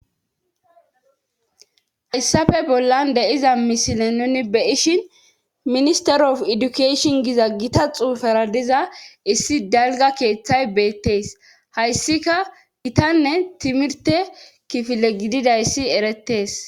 Hayssafe bollan de7iza misile nuni be7ishin minister of edukashin giza gita xuufara diza issi dalgga keeththay beettees hayssika gitanne timirte kifile gididayssi erettees.